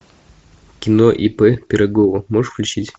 кино ип пирогова можешь включить